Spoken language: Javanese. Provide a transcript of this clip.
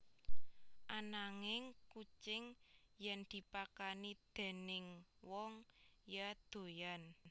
Ananging kucing yèn dipakani déning wong ya doyan